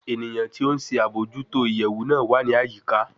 Eniyan ti o nṣe abojuto iyẹwu naa wa ni ayika